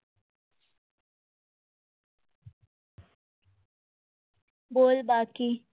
બોલ બાકી